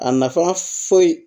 A nafa foyi